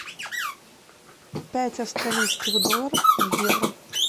пять австралийских долларов в евро